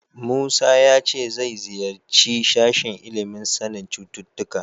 Musa ya ce zai ziyarci sashen ilimin sanin cututtuka.